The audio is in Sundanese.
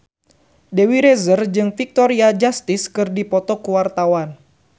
Dewi Rezer jeung Victoria Justice keur dipoto ku wartawan